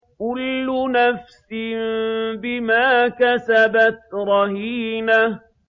كُلُّ نَفْسٍ بِمَا كَسَبَتْ رَهِينَةٌ